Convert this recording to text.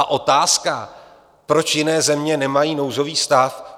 A otázka, proč jiné země nemají nouzový stav?